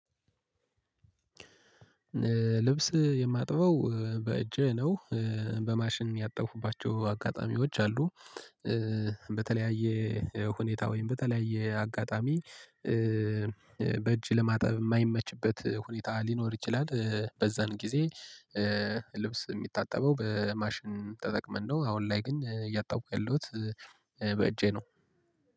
ልብስ የማጥበው በእጄህ ነው በማሽን ያጠፉባቸው አጋጣሚዎች አሉ በተለያየ ሁኔታ ወይም በተለያየ አጋጣሚ በእጅ ለማጠብ የማይመችበት ሁኔታ ሊኖር ይችላል በዛን ጊዜ ልብስ የሚታጠበው በማሽን ተጠቅመን ነው። አሁን ላይ ግን እያጠብኩ ያለሁት በእጄ ነው።